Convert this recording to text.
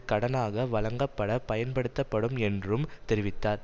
கடனாக வழங்கப்பட பயன்படுத்தப்படும் என்றும் தெரிவித்தார்